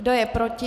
Kdo je proti?